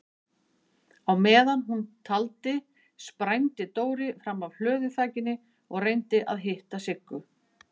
Á meðan hún taldi sprændi Dóri fram af hlöðuþakinu og reyndi að hitta Siggu.